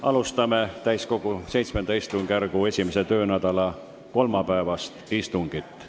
Alustame täiskogu VII istungjärgu esimese töönädala kolmapäevast istungit.